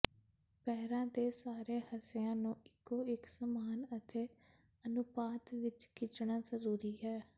ਪੈਰਾਂ ਦੇ ਸਾਰੇ ਹਿੱਸਿਆਂ ਨੂੰ ਇਕੋ ਇਕ ਸਮਾਨ ਅਤੇ ਅਨੁਪਾਤ ਵਿਚ ਖਿੱਚਣਾ ਜ਼ਰੂਰੀ ਹੈ